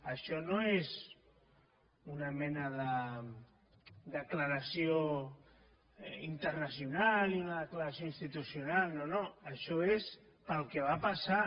això no és una mena de declaració internacional ni una declaració institucional no no això és pel que va passar